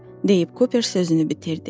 deyib Cooper sözünü bitirdi.